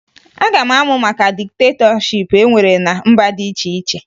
Aga m amụ maka diktetọship e nwere ná mba dị iche iche